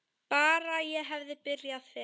Bara ég hefði byrjað fyrr!